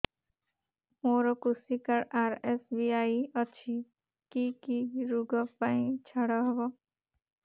ମୋର କୃଷି card RSBY ଅଛି କି କି ଋଗ ପାଇଁ ଛାଡ଼ ହବ